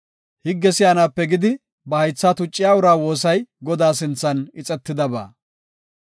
Higge si7anaape gidi ba haytha tucciya, uraa woosay Godaa sinthan ixetidaba.